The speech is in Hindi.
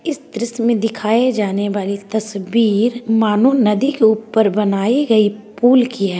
इस दृश्य मे दिखाए जाने वाली तस्वीर मानो नदी के ऊपर बनाई गई पूल की है।